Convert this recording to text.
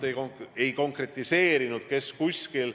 Te küll ei konkretiseerinud, kes kuskil.